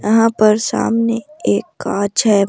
यहां पर सामने एक कांच है।